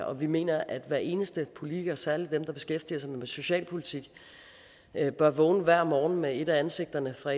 og vi mener at hver eneste politiker særlig dem der beskæftiger sig med socialpolitik bør vågne hver morgen med et af ansigterne fra